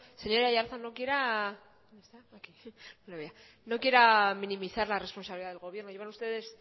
señor aiartza no quiera minimizar la responsabilidad del gobierno llevan ustedes